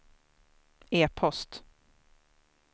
e-post